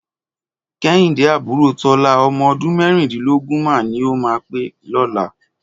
Kẹ́hìndé àbúrò Tọ́lá, ọmọ ọdún mẹ́rìndínlógún máa ní ó máa pé lọ́la.